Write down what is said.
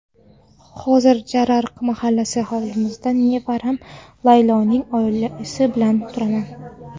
Hozir Jarariq mahallasidagi hovlimizda nevaram Layloning oilasi bilan turaman.